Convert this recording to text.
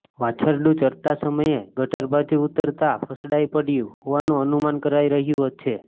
વાછરડુ ચરતા સમયે ગટર બાજુ ઉતરતા ફસડાઇ પડયુ હોવાનુ અનુમાન કરાઇ રહ્યું છે